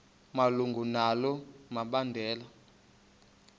malunga nalo mbandela